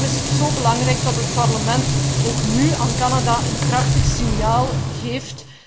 Daarom is het zo belangrijk dat het Parlement ook nu aan Canada een krachtig signaal geeft.